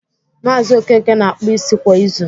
Maazi Okeke na-akpụ isi kwa izu